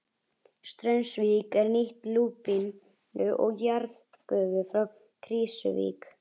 Straumsvík er nýtti lúpínu og jarðgufu frá Krýsuvík.